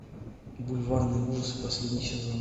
бульварные ужасы последний сезон